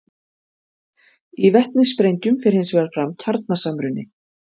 Í vetnissprengjum fer hins vegar fram kjarnasamruni.